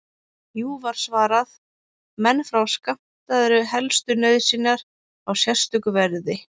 Jú, var svarað, menn fá skammtaðar helstu nauðsynjar á sérstöku verði.